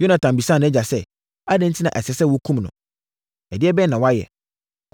Yonatan bisaa nʼagya sɛ, “Adɛn enti na ɛsɛ sɛ wɔkum no? Ɛdeɛbɛn na wayɛ?”